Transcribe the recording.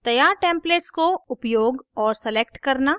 तैयार templates को उपयोग और select करना